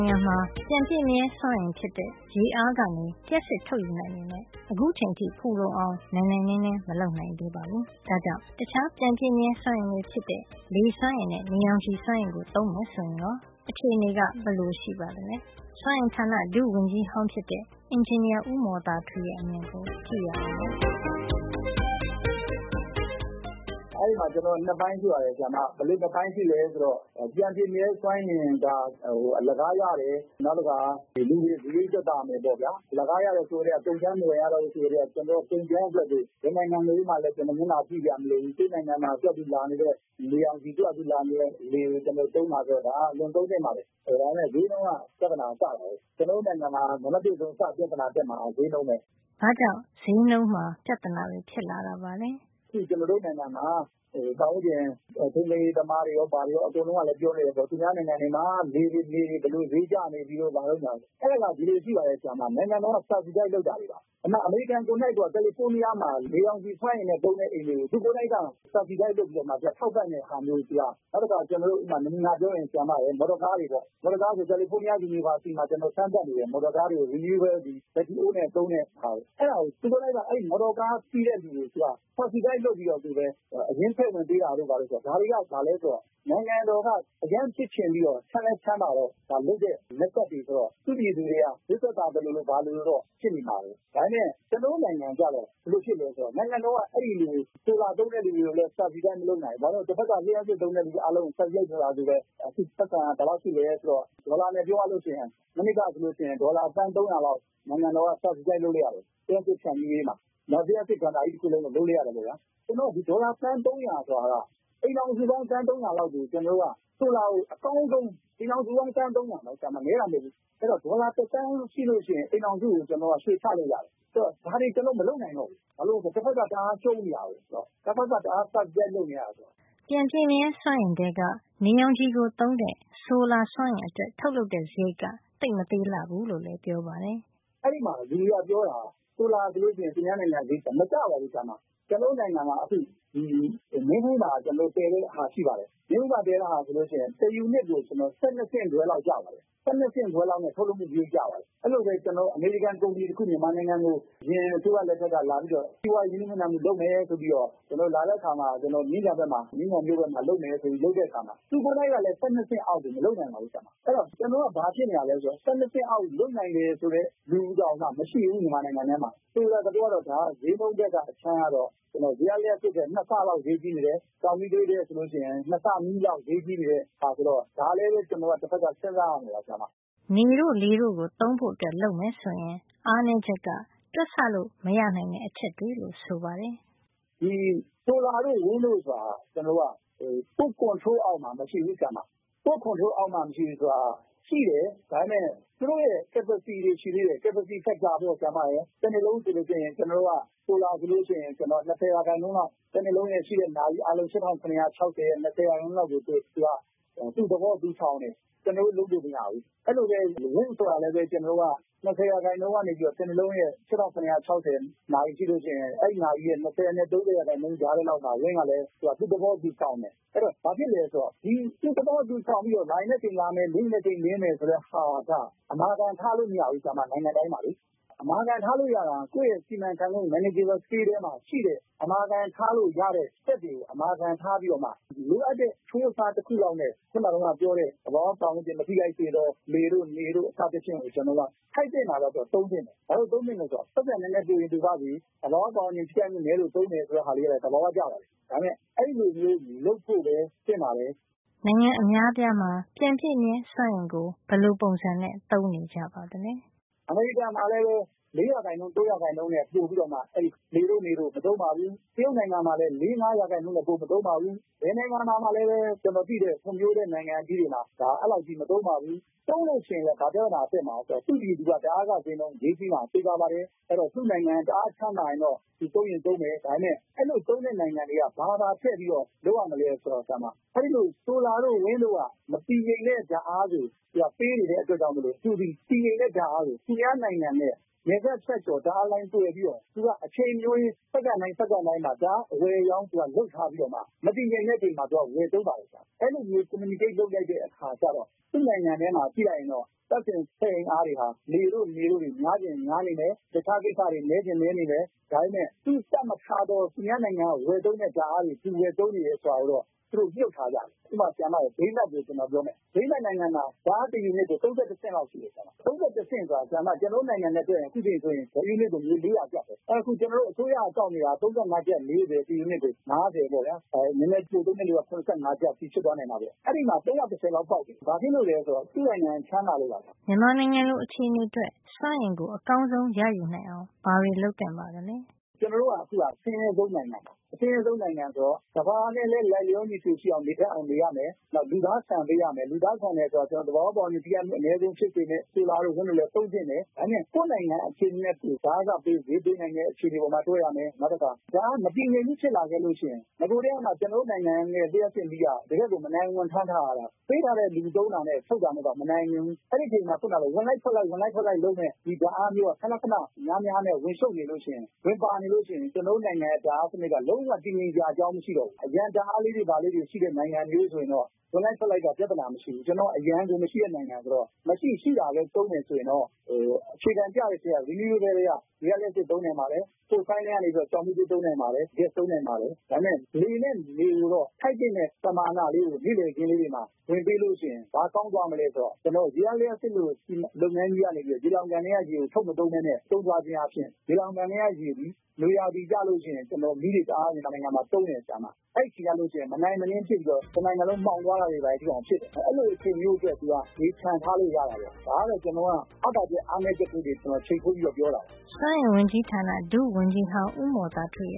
င်ငံမှာ ပြန်ပြည့်မြဲစွမ်းအင်ဖြစ်တဲ့ ရေအားကနေ လျှပ်စစ်ထုတ်ယူနိုင်ပေမယ့် အခုချိန်ထိ ဖူလုံအောင် နိုင်နိုင်နင်းနင်း မလုပ်နိုင်သေးပါဘူး။ ဒါ့ကြောင့် တခြားပြန်ပြည့်မြဲစွမ်းအင်တွေ ဖြစ်တဲ့ လေစွမ်းအင်နဲ့ နေရောင်ခြည်စွမ်းအင်ကို သုံးမယ် ဆိုရင်ကော အခြေနေက ဘယ်လို ရှိပါသလဲ စွမ်းအင်ဌာ ဒုဝန်ကြီးဟောင်းဖြစ်တဲ့ အင်ဂျင်နီယာ ဦးမော်သာထွေးရဲ့ အမြင်ကို ကြည့်ရအောင်ပါ။ “အဲဒီမှာ ကျွန်တော် ၂ ပိုင်းတွေ့ပါတယ်။ ဘယ်လိုလည်း ဆိုတော့ ပြန်ပြည့်မြဲစွမ်းအင်ဟာ အလကားရတယ်။ နောက်တခါ စားရိတ်သက်သာမယ်ပေါ့ဗျာ။ အလကားရတယ် ဆိုကတည်းက ကုန်ကြမ်းအတွက် မကုန်ရတော့ ကုန်ကြမ်းအတွက်ဆို ဘယ်နိုင်ငံကိုမှလည်း မျက်နှာကြည့်စရာ မလိုဘူး ကိုယ့်နိုင်ငံမှာ သူ့ဟာသူ ဖြတ်ပြီးလာနေတဲ့ နေရောင်ခြည်၊ သူ့ဟာသူ လာနေတဲ့ လေက အင်မတန် သုံးသင့်ပါတယ်။ အဲဒါပေမယ့် ဈေးနှုန်းက ပြဿနာက စတာပဲ။ ကျွန်တော်တို့ နိုင်ငံမှာ နံပတ် ၁ ပြဿနာ စပြီး တက်မှာက ဈေးနှုန်းပဲ။” ဘာ့ကြောင့် ဈေးနှုန်းမှာ ပြဿနာတွေ ဖြစ်လာရတာပါလဲ။ “ကျွန်တော်တို့ နိုင်ငံမှာ ပတ်ဝန်းကျင် ထိန်းသိမ်းရေးသမားတွေ ဘာတွေကော အကုန်လုံးက ပြောနေတယ်ပေါ့။ သူများနိုင်ငံမှာ နေတွေ လေတွေ ဘယ်လို ဈေးကျနေပြီတဲ့ ဆိုပြီးတော့။ အဲဒါက ဒီလိုရှိပါတယ် ဆရာမ။ နိုင်ငံတော်က subsidized လုပ်တာတွေပါ။ အမေရိကန်ကိုယ်တိုင်က ကယ်လီဖိုးနီးယား မှာ နေရောင်ခြည် စွမ်းအင်နဲ့ သုံးတဲ့ အိမ်တွေကို သူကိုယ်တိုင်က subsidized လုပ်ပြီးတော့ ထောက်ပံ့တဲ့ ဟာမျိုးဗျ။ နောက်တခါ ကျွန်တော်တို့ နမူနာ ပြောရရင် မော်တော်ကား ပေါ့ဗျာ။ မော်တော်ကား ဆိုရင် ကယ်လီဖိုးနီးယား တက္ကသိုလ်မှာ စမ်းသပ်နေတယ်။ မော်တော်ကားတွေကို renewable ပြန်ပြည့်မြဲစွမ်းအင် ဘက်ထရီအိုးနဲ့ သုံးတဲ့ဟာ။ သူတို့က အဲဒီ မော်တော်ကား စီးတဲ့သူတွေက subsidized လုပ်ပြီး အရင်းထည့်ဝင်ပေးတာတို့ ဘာတို့ ဆိုတာ။ ဒါတွေက ဘာလဲ ဆိုတော့ နိုင်ငံတော်က သူက အရမ်းဖြစ်ချင်ပြီးတော့၊ ချမ်းလည်း ချမ်းသာတော့ ဒါလုပ်တဲ့ method တွေ ဆိုတော့၊ သူ့ပြည်သူတွေက ဈေးသက်သာသလိုလို တော့ ဖြစ်နေမှာပဲ။” “ဒါပေမယ့် ကျွန်တော်တို့ နိုင်ငံ ကျတော့ ဘယ်လို ဖြစ်သလဲ ဆိုတော့ နိုင်ငံတော်က အဲဒီလို ဆိုလာ သုံးတဲ့ လူတွေကိုလည်းsubsidized မလုပ်နိုင်ဘူး။ ဘာဖြစ်လို့လည်း ဆိုတော့ တဖက်က လျှပ်စစ် သုံးတဲ့ လူအားလုံးကို ထောက်ပံ့တဲ့ subsidized လုပ်ထားတာ ကိုပဲ ပိုက်ဆံက ဘယ်လောက် ရှိသလဲ ဆိုတော့ ဒေါ်လာနဲ့ ပြောရလို့ ရှိရင် မနှစ်က ဆိုရင် ဒေါ်လာ သန်း ၃၀၀ လောက် နိုင်ငံတော်က subsidized လုပ်လိုက်ရတယ်။ လျှပ်စစ် ဖြန့်ဖြူးရေးမှာ။ နောက် လျှပ်စစ်ဌာနကြီး တခုလုံးကို လုပ်လိုက်ရတယ် ခင်ဗျ။ လုပ်လိုက်တော့ ဒီ ကျွန်တော်တို့ ဒေါ်လာ သန်း ၃၀၀ ဆိုတာက အိမ်ထောင်စုပေါင်း သန်း ၃၀၀ လောက်ကို ကျွန်တော်တို့က ဆိုလာကို အကောင်းဆုံး။ အိမ်ထောင်စုပေါင်း သန်း ၃၀၀ လောက်ဆိုတာ နဲတာ မဟုတ်ဖူး။ ဒေါ်လာ တသန်းရှိရင်ကို အိမ်ထောင်စုကို ရွှေချလို့ ရတယ်။ ဆိုတော့ ဒါတွေ ကျွန်တော်တို့က မလုပ်နိုင်တော့ဘူး။ ဘာလို့လည်း ဆိုတော့ ဟိုဘက်က တအားရှုံးနေတာကိုး။ တဖက်က တအား subsidized လုပ်နေရတယ်။” ပြန်ပြည့်မြဲစွမ်းအင် ထဲက နေရောင်ခြည်ကိုသုံးတဲ့ ဆိုလာ စွမ်းအင်အတွက် ထုတ်လုပ်တဲ့စားရိတ်က သိပ်မသေးလှဘူးလို့လည်း ပြောပါတယ်။ “အဲဒီမှာ လူတွေက ပြောနေကြတာက ဆိုလာဟာ ဆိုလို့ရှိရင် သူများနိုင်ငံမှာ တအားဈေး ကျတယ်ဆို။ မကျပါဘူးဆရာမ။ ကျွန်တော်တို့ နိုင်ငံမှာ အခု မင်းဘူးမှာ တည်တဲ့ဟာ ရှိပါတယ်။ မင်းဘူးမှာ တည်တဲ့ဟာ ဆိုလို့ရှိရင် တယူနစ်ကို ကျွန်တော်တို့ ၁၂ ဆင့်ခွဲ လောက် ကျပါတယ်။ ၁၂ ဆင့်ခွဲလောက် ထုတ်လုပ်စားရိတ်ကျပါတယ်။ အဲဒီလိုပဲ အမေရိကန် ကုမ္ပဏီတခု မြန်မာနိုင်ငံကို အရင်အစိုးရ လက်ထက်က လာပြီး စီးပွါးရေးရင်းနှီးမြှုပ်နှံမှု လုပ်မယ်ဆို လာတဲ့အခါမှာ ကျွန်တော်တို့ မြင်းခြံဘက်မှာ လုပ်မယ်ဆိုပြီး လုပ်တဲ့ အခါမှာ သူတို့ကလည်း ၁၂ ဆင့်အောက်ဆို မလုပ်နိုင်ပါဘူး။ အဲဒီတော့ ကျွန်တော်တို့က ဘာဖြစ်နေတာလဲ ဆိုရင် ၁၂ ဆင့်အောက် လုပ်နိုင်တယ် ဆိုတဲ့ လူတောင်မှ မရှိဘူး မြန်မာနိုင်ငံထဲ မှာ ဆိုလိုတဲ့ သဘောကတော့ ဈေးနှုန်းဘက် အခြမ်းကနေ ကြည့်ရင် ရေအားလျှပ်စစ်ထက် ၂ ဆလောက် ဈေးကြီးနေတယ်။ ကျောက်မီးသွေးနဲ့ ယှဉ်ရင် ၂ ဆ နီးနီးလောက် ဈေးကြီးနေတဲ့ဟာ ဆိုတော့ ဒါကိုလည်း ကျွန်တော်တို့က စဉ်းစားရမယ် ဆရာမ။” နေတို့ လေတို့ကို သုံးဖို့ လုပ်မယ်ဆိုရင် အားနဲချက် တခုက တွက်ဆလို့ မရနိုင်တဲ့ အချက်တွေ လို့ ဆိုပါတယ်။ “ဒီ ဆိုလာတို့ လေတို့ ဆိုတာက ကျွန်တော်တို့က ကိုယ့် ထိမ်းချုပ်မှု control အောက်မှာ မရှိဘူး။ ကိုယ့် ထိမ်းချုပ်မှု အောက်မှာ မရှိဘူး ဆိုတာက၊ သူတို့က ရှိတော့ ရှိနေတယ်၊ ဒါပေမယ့် သူတို့ရဲ့ capacity တွေက ရှိသေးတယ်။ ရရှိတဲ့ ပမာဏ capacity factor ပေါ့။တနှစ်လုံး ဆိုလို့ ရှိရင် ကျွန်တော်တို့က ဆိုလာ ဆိုလို့ရှိရင် ၂၀ % လောက် ရမယ်ဆို၊ တနှစ်လုံး အတွက် ရှိတဲ့ နာရီအားလုံး ၈ရ၆၀ ရဲ့ ၂၀ % လောက်ဆိုတော့ သူက ပုံမှန်မရှိဘူး။ သူ့သဘော သူဆောင်တယ်။ ကျွန်တော်တို့ လုပ်လို့ မရဘူး။” “အဲဒီလိုပဲ wind - လေအား ဆိုတာကလည်း ကျွန်တော်တို့က ၂၀ % ကနေပြီးတော့ တနှစ်လုံးရဲ့၈၆၇၀ နာရီ ရှိလို့ရှိရင် အဲဒီနာရီရဲ့ ၂၀ နဲ့ ၃၀ % ကြားထဲလောက်မှာ ရမယ် ဆိုလို့ ရှိရင် လေအား ကလည်း သူ့သဘောသူဆောင်တယ်။ အဲဒီအခါမှာ ဘာဖြစ်လဲ ဆိုတော့ သူ့သဘောသူဆောင် ပြီးတော့ လာချင်တဲ့အချိန် လာမယ်၊လင်းချင်တဲ့ အချိန်လင်း မယ်ဆိုတဲ့ဟာက အမာခံ ထားလို့ မရဘူး ဆရာမ နိုင်ငံတိုင်းမှာလေ။ အမာခံ ထားလို့ ရတာက ကိုယ့်ရဲ့ စီမံခန့်ခွဲမှု အောက်မှာ manageable scale ထဲမှာ အမာခံထားလို့ ရတဲ့ဟာတွေကို အမာခံအဖြစ် ထားပြီးမှ၊ ထားလို့ မရတဲ့ဟာတွေကို လိုအပ်တဲ့ အချိုးအစားနဲ့ သဘာဝ ပတ်ဝန်းကျင် မထိခိုက်စေပဲ နေတို့ လေတို့ စသဖြင့်ကို ထိုက်သင့်တာလောက်ပဲ သုံးသင့်တယ်။ ဘာလို့ သုံးသင့်သလဲ ဆိုတော့၊ ပိုက်ဆံ နဲနဲ ပိုချင် ပိုပါ့စေ။ သဘာဝ ပတ်ဝန်းကျင် ထိခိုက်မှု နဲလို့ သုံးတယ် ဆိုပြီးတော့ အဲဒါက သဘာဝ ကျပါတယ်။ ဒါပေမယ့် အဲဒီလိုပဲ လုပ်ဖို့ သင့်ပါတယ်” နိုင်ငံအများအပြားမှာ ပြန်ပြည့်မြဲစွမ်းအင် သုံးတဲ့ အနေထားတွေ ကြည့်ရအောင်ပါ။ “အမေရိကန်မှာဆို လည်းပဲ ၃ % ၄ % နဲ့ ပိုပြီးမှ အဲဒီ နေတို့ လေတို့ ကို မသုံးပါဘူး။ တရုတ်နိုင်ငံမှာလည်းပဲ ၄ % - ၅% ထက် ပိုမသုံးပါဘူး။ ကျွန်တော်သိတဲ့ ဖွံ့ဖြိုးတဲ့ နိုင်ငံကြီးတွေမှာ ဘယ်နိုင်ငံမှာမှ အဲဒီလောက်ကြီး မသုံးပါဘူး။ သုံးလို့ ရှိရင် ဘာပြဿနာ တက်မှာလဲ ဆိုတော့ သူ့ပြည်သူက ဓါတ်အားခ ဈေးနှုန်း ဈေးကြီးမှာ သေချာပါတယ်။ အဲဒီတော့ သူ့နိုင်ငံက တအားချမ်းသာရင်တော့ သူသုံးရင် သုံးမယ်။” “ဒါပေမယ့် အဲဒီလို သုံးတဲ့ နိုင်ငံတွေက ဘာပါ ထည့်ပြီးတော့ လုပ်ရမလဲ ဆိုတော့။ အဲဒီ ဆိုလာတို့ လေတို့က မတည်ငြိမ်တဲ့ ဓါတ်အား ကို ပေးနေတဲ့ အတွက်ကြောင့် သူသည် တည်ငြိမ်တဲ့ ဓါတ်အားကို သူများနိုင်ငံနဲ့ နယ်စပ်ဖြတ်ကျော် ပြီး ဓါတ်အားလိုင်း သွယ်ပြီးတော့ သူက အချိန်မရွေး စက္ကန့်တိုင်း စက္ကန့်တိုင်းမှာ ဓါတ်အား အဝယ်အရောင်း သူက လုပ်ထားပြီးတော့မှ မတည်ငြိမ်တဲ့ အချိန်မှာ သူက ဝယ်သုံးပါတယ် ဆရာမ။ အဲဒီလိုမျိုး communicate လုပ်လိုက်တဲ့ အခါကျတော့ သူ့နိုင်ငံထဲမှာ ကြည့်လိုက်ရင်တော့ သန့်စင်စွမ်းအင်အားတွေမှာ နေတို့ လေတို့ တွေ များချင် များနေမယ်။ တခြားကိစ္စတွေ နဲချင် နဲနေမယ်၊ ဒါပေမယ့် သူတပ်မထားသော၊ သူများနိုင်ငံက ဝယ်သုံးတဲ့ ဓါတ်အားတွေ သူဝယ်သုံးနေတယ် ဆိုတာကိုတော့ သူတို့ မြှုပ်ထားကြတယ်။” “ဥပမာ ဒိန်းမတ်ကို ကျွန်တော်ပြောမယ်။ ဒိန်းမတ်နိုင်ငံမှာ ဓါတ်အားတယူနစ်ကို ၃၁ ဆင့် ရှိပါတယ်။ ကျွန်တော်တို့ နိုင်ငံရဲ့ ငွေနဲ့ တွက်ရင် တယူနစ်ကို ငွေ ၄၀၀ ကျပ်ပဲ။ အဲတော့ အခု အစိုးရက ကောက်နေတာ ငွေက ၃၅- ၄၀- ၅၀ ပေါ့ဗျာ။ နဲနဲပိုသုံးတဲ့ သူက ၇၅ ကျပ် ဖြစ်သွားနိုင်တာပေါ့ တယူနစ်ကို။ အဲဒီမှာ ၃၁၀ လောက် ပေါက်တယ်။ ဘာဖြစ်လို့လည်း ဆိုတော့ သူ့ရဲ့ နိုင်ငံက ချမ်းသာတယ်။” မြန်မာနိုင်ငံလို အခြေနေအတွက် စွမ်းအင်ကို အကောင်းဆုံး ရယူနိုင်အောင် ဘာတွေ လုပ်သင့်ပါသလဲ။ “ကျွန်တော်တို့က အခုက အဆင်းရဲဆုံး နိုင်ငံပါ။ အဆင်းရဲဆုံး နိုင်ငံ ဆိုတော့ ကမ္ဘာနဲ့လည်း လိုက်လျော ညီထွေဖြစ်အောင် နေရမယ်။ နောက်ပြီး လူသား ဆန်ပေးရမယ်။ လူသားဆန်ရမယ် ဆိုတာက သဘာဝ ပတ်ဝန်းကျင်ကို ထိခိုက်မှု အနဲဆုံး ဖြစ်စေမယ့် ဆိုလာတို့ လေတို့လည်း သုံးသင့်တယ်။ ဒါပေမယ့် ကိုယ့်နိုင်ငံ အခြေနေနဲ့ဆို ဓါတ်အားခဈေးက ပေးနိုင်တဲ့ အခြေနေပေါ်မှာ တွက်ရမယ်။နောက်တခါ ဓါတ်အား မတည်ငြိမ်မှု ဖြစ်လာခဲ့လို့ရှိရင်၊ နဂိုကတည်းကမှ ကျွန်တော်တို့ နိုင်ငံရဲ့ လျှပ်စစ်မီးက တကယ့်ကို မနိုင်ဝန်ကို ထမ်းထားရတာပါ။ ပေးတာနဲ့ ယူသုံးတာနဲ့ ထုတ်တာက မနိုင်ချင်ဘူး။ အဲဒီအချိန်မှာ ခုနလို ဝင်လိုက်ထွက်လိုက်လုပ်မယ့် မတည်ငြိမ်တဲ့ ဓါတ်အားမျိုးက ခဏခဏ များများနဲ့ ဝင်ရှုပ်နေလို့ရှိရင် ဝင်ပါနေလို့ ရှိရင် ကတော့ ကျွန်တော်တို့ နိုင်ငံရဲ့ ဓါတ်စံနစ်က လုံးဝတည်ငြိမ် နိုင်စရာ အကြောင်း မရှိတော့ဘူး။” “အရံဓါတ်အားလေးတွေ ဘာလေးတွေ ရှိတဲ့နိုင်ငံမျိုးဆို ရင်တော့ ဝင်လိုက်ထွက်လိုက်က ပြဿနာ မရှိဘူး။ ကျွန်တော်တို့က အရံကို မရှိတဲ့ နိုင်ငံ ဆိုတော့ မရှိရှိတာလေးသုံးမယ် ဆိုရင်တော့၊ အခြေခံ ကျတဲ့ထဲက renewable ထဲက ရေအားလျှပ်စစ် သုံးနိုင်ပါတယ်။ တခြားက ကျောက်မီးသွေး သုံးနိုင်ပါတယ်။ ဂက်စ် သုံးနိုင်ပါတယ်။ ဒါပေမယ့် နေနဲ့ လေကိုတော့ ထိုက်သင့်တဲ့ ပမာဏလေးတွေ ကို နေ့လည်ခင်းလေးတွေမှာ ဝင်ပေး လို့ ရှိရင် ဘာကောင်းသွားမလဲ ဆိုတော့ ကျွန်တော်တို့ ရေအားလျှပ်စစ် လို လုပ်ငန်းကြီးကနေ ရေလှောင်ကန်ထဲက ရေကို ထုတ်မသုံးပဲ ထိန်းထားခြင်း အားဖြင့် ရေလှောင်ကန်ထဲက ရေသည် နွေကျလို့ ရှိရင် ကျွန်တော်တို့ မီးတွေဘာတွေ အတွက် တအား မြန်မာနိုင်ငံမှာ သုံးပါတယ်။ အဲဒီအခါကျလို့ ရှိရင် မနိုင်မနင်းဖြစ်ပြီးတော့ တနိုင်ငံလုံး မှောင်သွားတာတွေ ဘာတွေ ဖြစ်မယ်၊ အဲဒီလို အချိန်မျိုးအတွက် သူက ရေချန်ထားလို့ ရတာပေါ့။ ဒါကတော့ ကျွန်တော်က အားသာချက် အားနဲချက်တွေကို ချိန်ထိုးပြီးတော့ ပြောတာပါ။” စွမ်းအင်ဝန်ကြီးဌာန ဒုဝန်ကြီးဟောင်း ဦးမော်သာထွေ